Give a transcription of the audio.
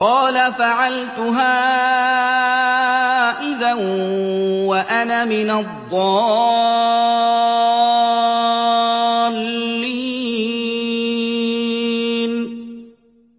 قَالَ فَعَلْتُهَا إِذًا وَأَنَا مِنَ الضَّالِّينَ